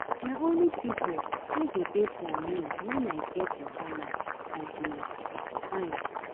Na only pipu wey go dey for me wen I get wahala I dey find.